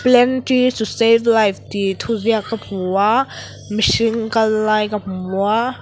plant trees to save life tih thuziak ka hmu a mihring kallai ka hmu a--